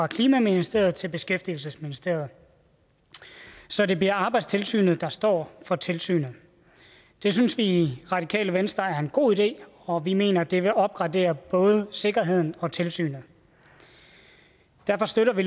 klimaministeriet til beskæftigelsesministeriet så det bliver arbejdstilsynet der står for tilsynet det synes vi i radikale venstre er en god idé og vi mener at det vil opgradere både sikkerheden og tilsynet derfor støtter vi